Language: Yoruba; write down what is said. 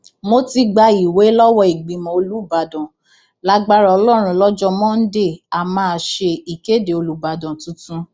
mo ti gba ìwé lọwọ ìgbìmọ olùbàdàn lágbára ọlọrun lọjọ monde a máa ṣe ìkéde olùbàdàn tuntun